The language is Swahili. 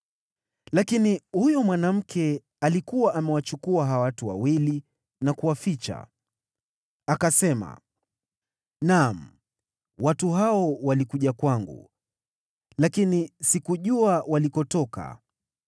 Lakini huyo mwanamke alikuwa amewachukua hao watu wawili na kuwaficha. Akasema, “Naam, watu hao walikuja kwangu, lakini sikujua walikotoka.